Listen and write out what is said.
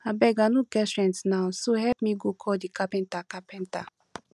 abeg i no get strength now so help me go call the carpenter carpenter